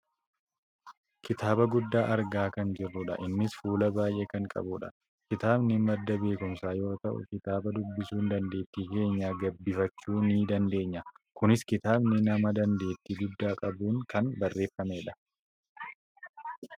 Kitaaba guddaa argaa kan jirrudha. Innis fuula baayyee kan qabudha. Kitabani madda beekkumsaa yoo ta'u, kitaaba dubbisuun dandeettii keenya gabbifachuu ni dandeenya. Kunis kitaabni nama dandeettii guddaa qabuun kan barreeffamudha.